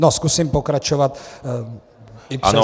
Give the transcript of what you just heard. No zkusím pokračovat i přesto.